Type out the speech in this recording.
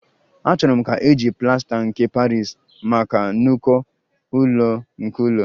Achọrọ m ka eji plasta nke Paris maka n'uko ụlọ nke ụlọ